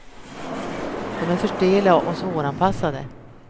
De är för stela och svåranpassade.